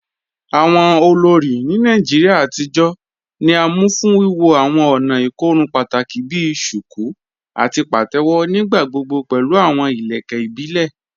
Awọn olórí ni Nàìjíríà àtijọ ni à mú fún wíwọ́ awọn ònà ikòrùn pátákì bí "shuku" àti "pàtẹwo," nígbàgbọ̀gbọ̀ pẹ̀lú awọn ilẹ̀kẹ̀ ìbílẹ̀.